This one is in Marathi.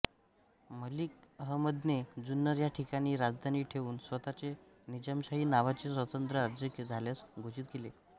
मलिक अहमदने जुन्नर या ठिकाणी राजधानी ठेवून स्वतःचे निजामशाही नावाचे स्वतंत्र राज्य झाल्याचे घोषित केले